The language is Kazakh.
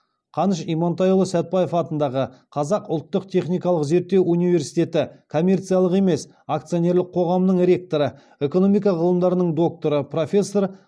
қаныш имантайұлы сәтбаев атындағы қазақ ұлттық техникалық зерттеу университеті коммерциялық емес акционерлік қоғамының ректоры экономика ғылымдарының докторы профессор